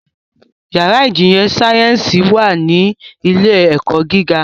Yàrá ìjìnlẹ̀ sáyẹ́nsì wà ní ilé - ẹ̀kọ́ gíga